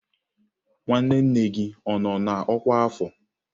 Nwanne nne m gị ọ nọ n'ọkwá afọ?